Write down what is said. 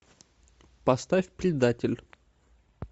поставь предатель